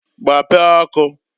Gbapee ọkụǃ